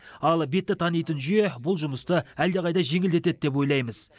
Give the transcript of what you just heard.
ал бетті танитын жүйе бұл жұмысты әлдеқайда жеңілдетеді деп ойлаймыз